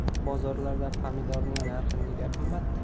Bozorlarda pomidorning narxi nega qimmat?.